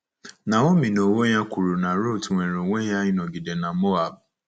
Naomi n’onwe ya kwuru na Ruth nwere onwe ya ịnọgide na Moab